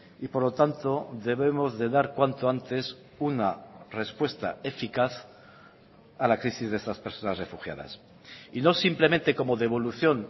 y por lo tanto debemos de dar cuanto antes una respuesta eficaz a la crisis de estas personas refugiadas y no simplemente como devolución